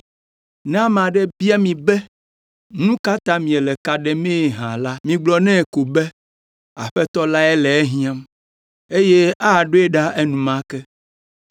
Ne ame aɖe bia mi be nu ka ta miele ka ɖemee hã la, migblɔ nɛ ko be, ‘Aƒetɔ lae le ehiãm, eye aɖoe ɖa enumake.’ ”